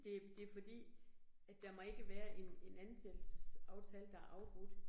Det det fordi, at der må ikke være en en ansættelsesaftale, der er afbrudt